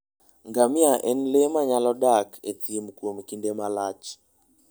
Ngamia en le manyalo dak e thim kuom kinde malach.